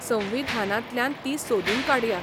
संविधानांतल्यान तीं सोदून काडया.